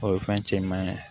O ye fɛn cɛman ye